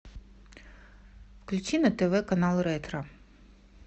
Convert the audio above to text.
включи на тв канал ретро